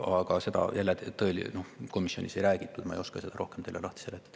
Aga seda komisjonis ei räägitud, ma ei oska seda teile rohkem lahti seletada.